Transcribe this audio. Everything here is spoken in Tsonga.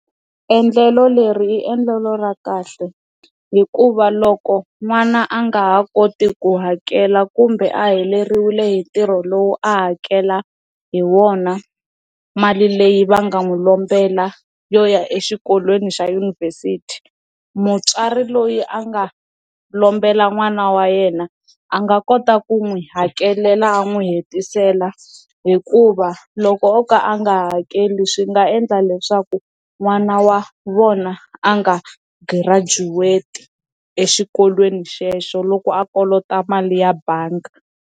Endlelo leri i endlelo ra kahle hikuva loko n'wana a nga ha koti ku hakela kumbe a heleriwe hi ntirho lowu a hakela hi wona mali leyi va nga n'wi lombelaka yo ya exikolweni xa yunivhesiti mutswari loyi a nga lombelaka n'wana wa yena a nga kota ku n'wi hakelela a n'wi hetisela hikuva loko o ka a nga hakeli swi nga endla leswaku n'wana wa vona a nga graduate exikolweni xexo loko a kolota mali ya bangi.